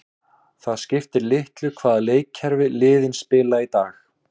Það skiptir litlu hvaða leikkerfi liðin spila í dag.